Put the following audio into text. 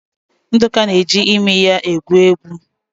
Nduka na-eji imi ya egwu egwu.